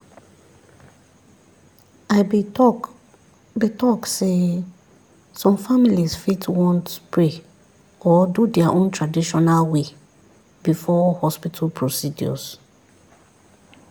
i be talk be talk sey some families fit want pray or do their own traditional way before hospital procedures.